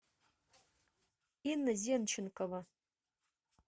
инна зенченкова